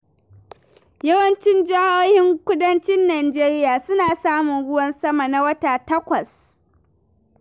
Yawancin jihohin kudancin Najeriya suna samun ruwan sama na wata takwas.